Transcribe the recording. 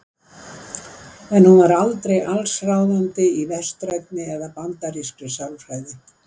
En hún var aldrei allsráðandi í vestrænni eða bandarískri sálfræði.